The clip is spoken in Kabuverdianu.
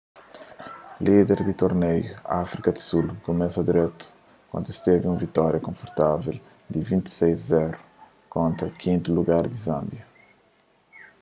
líder di tornéiu áfrika di sul kumesa dretu kantu es tevi un vitória konfortavel di 26 - 00 kontra 5ª lugar di zânbia